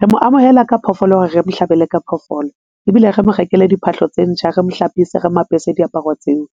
Re mo amohela ka phoofolo hore re mo hlabele ka phoofolo ebile re mo rekele diphahlo tse ntjha. Re mo hlapise re mo apese diaparo tseo